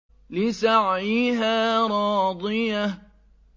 لِّسَعْيِهَا رَاضِيَةٌ